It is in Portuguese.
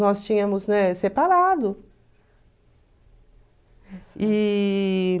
Nós tínhamos, né, separado. E...